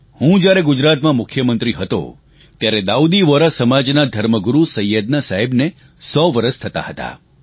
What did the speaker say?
હું જ્યારે ગુજરાતમાં મુખ્યમંત્રી હતો ત્યારે દાઉદી વોહરા સમાજના ધર્મગુરુ સૈયદના સાહેબને સો વરસ થતાં હતાં